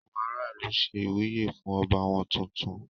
Àwọn ará ìlú ṣe ìwúyè fún ọba wọ́n tuntun.